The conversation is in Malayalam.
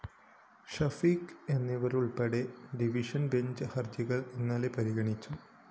ഷഫീഖ് എന്നിവരുള്‍പ്പെട്ട ഡിവിഷൻ ബെഞ്ച്‌ ഹര്‍ജികള്‍ ഇന്നലെ പരിഗണിച്ചു